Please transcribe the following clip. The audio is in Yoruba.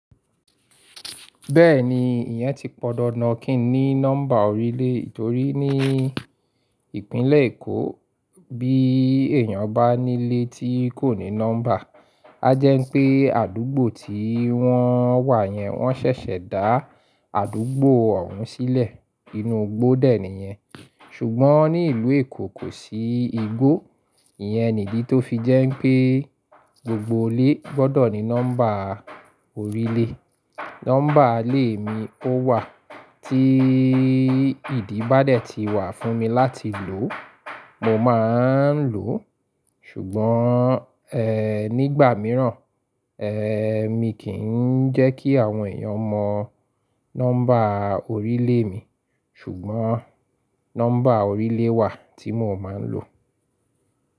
Bẹ́ẹ̀ni, ìyẹn ti pọn dandan kí n ní nọ́mbà orílè, torí ní ìpínlẹ̀ Èkó bí èèyàn bá nílé tí kò ní nọ́mbà, a jẹ́ pé àdúgbò tí wọ́n wà yẹn wọ́n ṣẹ̀ṣẹ̀ dá àdúgbò ọ̀hún sílẹ̀ inú igbó dè níyẹn. Ṣùgbọ́n ní ìlú Èkó kò sí igbó, ìyẹn nìdí tó fi jẹ́ pé gbogbo ilé gbọ́dọ̀ ní nọ́mbà orílè. Nọ́mbà ilé mi ó wà tí ìdíbadé ti wà fún mi láti lò, mo máa ń lò. Ṣùgbọ́n, ẹ́ nígbà mìíràn, ẹ́, mi kì ń jẹ́ kí àwọn èèyàn mọ nọ́mbà orílè mi, ṣùgbọ́n nọ́mbà orílè wà tí mo máa ń lò.